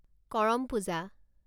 Karam Puja